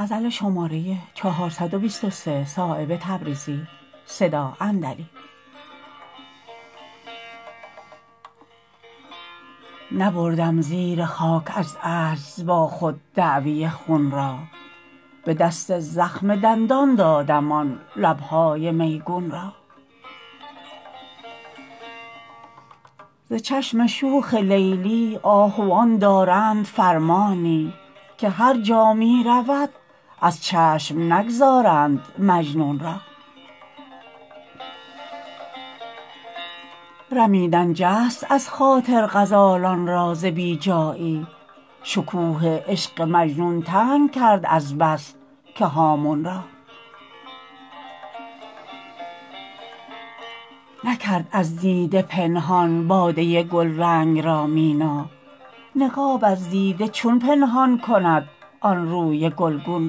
نبردم زیر خاک از عجز با خود دعوی خون را به دست زخم دندان دادم آن لبهای میگون را ز چشم شوخ لیلی آهوان دارند فرمانی که هر جا می رود از چشم نگذارند مجنون را رمیدن جست ازخاطر غزالان را ز بی جایی شکوه عشق مجنون تنگ کرد از بس که هامون را نکرد از دیده پنهان باده گلرنگ را مینا نقاب از دیده چون پنهان کند آن روی گلگون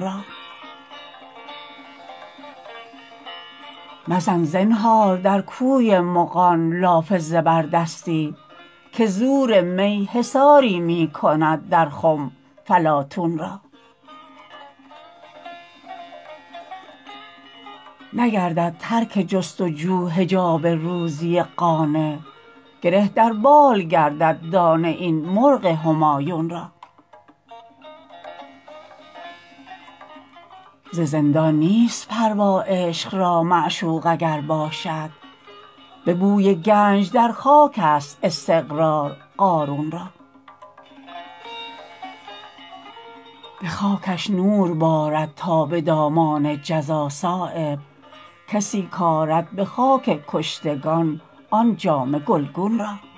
را مزن زنهار در کوی مغان لاف زبردستی که زور می حصاری می کند در خم فلاطون را نگردد ترک جست و جو حجاب روزی قانع گره در بال گردد دانه این مرغ همایون را ز زندان نیست پروا عشق را معشوق اگر باشد به بوی گنج در خاک است استقرار قارون را به خاکش نور بارد تا به دامان جزا صایب کسی کآرد به خاک کشتگان آن جامه گلگون را